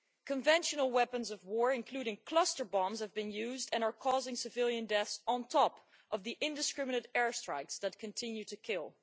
Conventional weapons of war, including cluster bombs, have been used and are causing civilian deaths on top of the indiscriminate airstrikes that continue to kill.